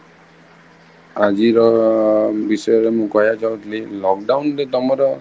ଆଜିର ବିଷୟରେ ମୁଁ କହିବା କୁ ଚାହୁଁଥିଲି lockdown ରେ ତମର